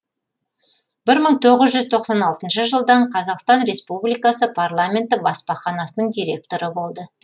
бір мың тоғыз жүз тоқсан алтыншы жылдан қазақстан республикасы парламенті баспаханасының директоры болды